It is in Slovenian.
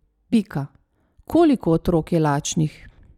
Pika: 'Koliko otrok je lačnih?